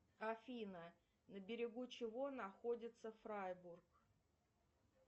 афина на берегу чего находится фрайбург